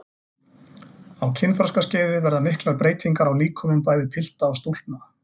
Á kynþroskaskeiði verða miklar breytingar á líkömum bæði pilta og stúlkna.